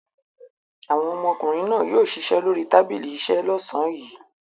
Àwọn ọmọkùnrin náà yóò ṣiṣẹ́ lórí tábìlì iṣẹ́ lọ́sàn-án yìí.